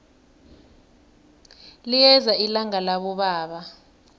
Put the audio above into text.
liyeza ilanga labobaba